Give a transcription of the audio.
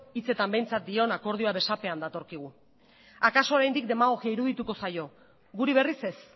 hitzetan behintzat dion akordioa besapean datorkigu akaso oraindik demagogia irudituko zaio guri berriz ez